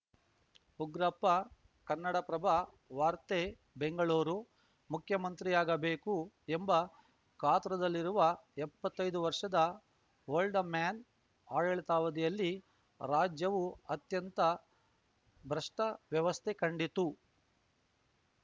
ಉಗ್ರಪ್ಪ ಕನ್ನಡಪ್ರಭ ವಾರ್ತೆ ಬೆಂಗಳೂರು ಮುಖ್ಯಮಂತ್ರಿಯಾಗಬೇಕು ಎಂಬ ಕಾತುರದಲ್ಲಿರುವ ಎಪ್ಪತ್ತೈದು ವರ್ಷದ ಓಲ್ಡ್‌ ಮ್ಯಾನ್‌ ಆಡಳಿತಾವಧಿಯಲ್ಲಿ ರಾಜ್ಯವು ಅತ್ಯಂತ ಭ್ರಷ್ಟವ್ಯವಸ್ಥೆ ಕಂಡಿತ್ತು